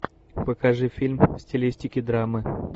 покажи фильм в стилистике драмы